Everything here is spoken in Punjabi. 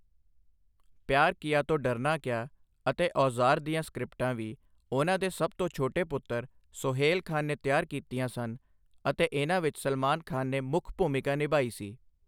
ਪਿਆਰ ਕੀਆ ਤੋ ਡਰਨਾ ਕਯਾ' ਅਤੇ 'ਔਜ਼ਾਰ' ਦੀਆਂ ਸਕ੍ਰਿਪਟਾਂ ਵੀ ਉਹਨਾਂ ਦੇ ਸਭ ਤੋਂ ਛੋਟੇ ਪੁੱਤਰ ਸੋਹੇਲ ਖਾਨ ਨੇ ਤਿਆਰ ਕੀਤੀਆਂ ਸਨ ਅਤੇ ਇਹਨਾਂ ਵਿੱਚ ਸਲਮਾਨ ਖਾਨ ਨੇ ਮੁੱਖ ਭੂਮਿਕਾ ਨਿਭਾਈ ਸੀ।